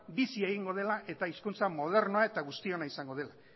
bizi egingo dela eta hizkuntza modernoa eta guztionak izango dela